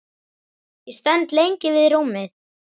Ég stend lengi við rúmið.